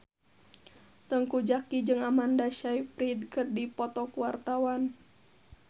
Teuku Zacky jeung Amanda Sayfried keur dipoto ku wartawan